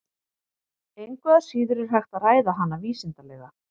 Engu að síður er hægt að ræða hana vísindalega.